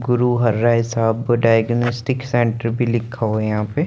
गुरु हराई सा पोताईगोनिस्टीक सेंटर भी लिखा हुआ हैं यहा पे --